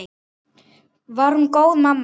Var hún góð mamma?